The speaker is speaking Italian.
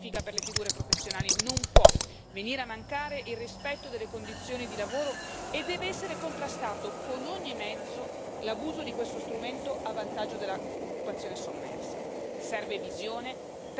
La formazione deve essere specifica per le figure professionali, non può venire a mancare il rispetto delle condizioni di lavoro e deve essere contrastato con ogni mezzo l'abuso di questo strumento a vantaggio dell'occupazione sommersa.